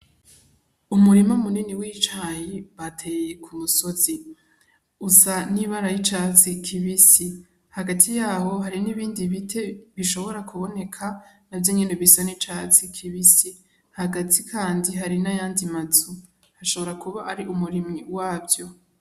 Umurima munini w'icayi bateye ku musozi usa n'ibara ry'icatsi kibisi. Hagati yaho hari n'ibindi biti bishobora kuboneka, navyo nyene bisa n'icatsi kibisi. Hagati kandi hari n'ayandi mazu, ashobora kuba ari umurimyi wavyo.